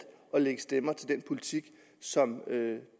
at lægge stemmer til den politik som